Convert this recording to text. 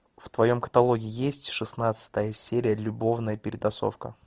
в твоем каталоге есть шестнадцатая серия любовная перетасовка